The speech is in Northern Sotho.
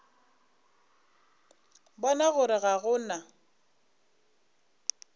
bona gore ga go na